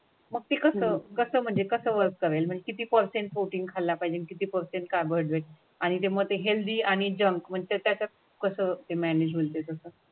मग ते कसं, कसं म्हणजे कसं वर्क किती फरसेंट प्रोटीन खाल्ला पाहिजे आणि किती फरसेंट carbohydrate आणि मग हेल्दी आणि जंक म्हणजे त्याच्यात कसं ते मायनेजमेंट ते तसं?